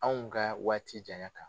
Anw ka waati janya kan